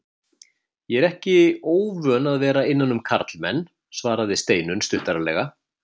Ég er því ekki óvön að vera innan um karlmenn, svaraði Steinunn stuttaralega.